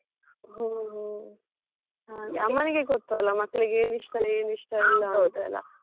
ಹೋ ಹೋ, ಹಾಗೆ ಅಮ್ಮನಿಗೆ ಗೊತ್ತು ಅಲ್ಲ ಮಕ್ಕಳಿಗೆ ಏನ್ ಇಷ್ಟ ಏನ್ ಇಷ್ಟ ಇಲ್ಲ ಅಂತೆಲ್ಲ.